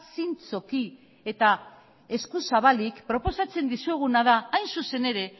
zintzoki eta eskuzabalik proposatzen dizueguna da hain zuzen ere